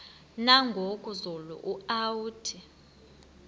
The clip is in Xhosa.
nangoku zulu uauthi